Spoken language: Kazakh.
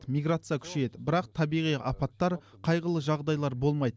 миграция күшейеді бірақ табиғи апаттар қайғылы жағдайлар болмайды